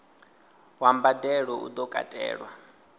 wa mbadelo u do katelwa